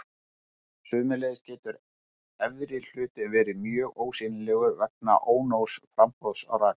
Sömuleiðis getur efri hlutinn verið alveg ósýnilegur vegna ónógs framboðs á raka.